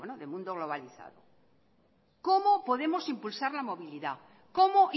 de mundo globalizado cómo podemos impulsar la movilidad cómo